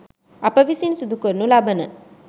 අප විසින් සිදු කරනු ලබන